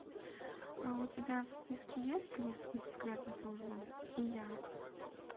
у тебя в списке есть лис из секретной службы и я